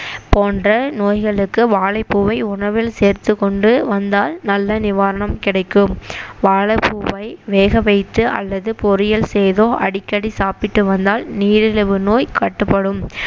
போன்ற நோய்களுக்கு வாழைப்பூவை உணவில் சேர்த்துக்கொண்டு வந்தால் நல்ல நிவாரணம் கிடைக்கும் வாழைப்பூவை வேகவைத்து அல்லது பொரியல் செய்தோ அடிக்கடி சாப்பிட்டு வந்தால் நீரிழிவு நோய் கட்டுப்படும்